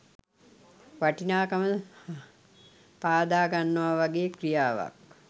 වටිනාකම පාදාගන්නවා වගේ ක්‍රියාවක්.